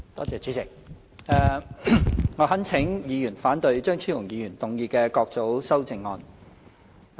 主席，我懇請議員反對張超雄議員動議的各組修正案。